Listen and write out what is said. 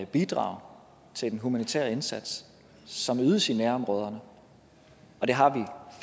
bidrag til den humanitære indsats som ydes i nærområderne og det har vi